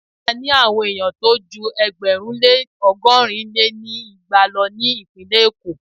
A ní àwon ènìyàn tó jú ẹgbẹ̀rún lé ọgọ́rin lé ní igba lọ ní ìpínlẹ̀ Èkó.